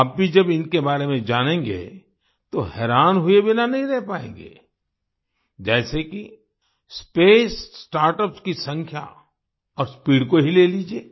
आप भी जब इनके बारे में जानेंगे तो हैरान हुए बिना नहीं रह पाएँगे जैसे कि स्पेस स्टार्टअप्स की संख्या और स्पीड को ही ले लीजिये